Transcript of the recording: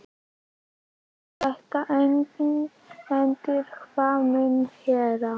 Skal þetta engan endi hafa minn herra?